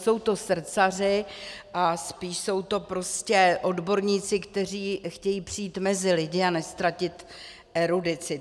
Jsou to srdcaři a spíš jsou to prostě odborníci, kteří chtějí přijít mezi lidi a neztratit erudici.